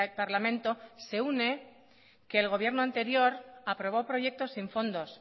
parlamento se une que el gobierno anterior aprobó proyectos sin fondos